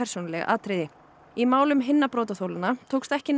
í málum hinna brotaþolanna tókst ekki nægilega að sanna sekt